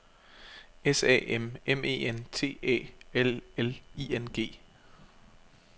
S A M M E N T Æ L L I N G